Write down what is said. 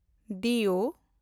ᱫᱤᱭᱳ